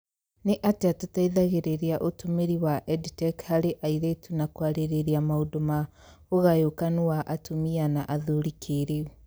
Nĩ atĩa tũteithagĩrĩria ũtũmĩri wa EdTech harĩ airĩtu na kũarĩrĩria maũndũ ma ũgayũkanũ wa atũmia na athũri kĩĩrĩu?